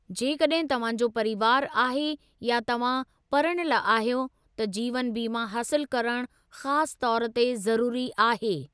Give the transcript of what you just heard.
जेकड॒हिं तव्हां जो परीवारु आहे या तव्हां परणियल आहियो, त जीवनु बीमा हासिलु करणु ख़ासु तौर ते ज़रुरी आहे।